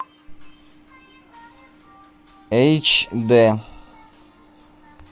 эйч дэ